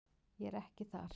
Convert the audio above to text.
Ég er ekki þar.